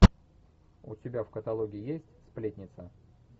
у тебя в каталоге есть сплетница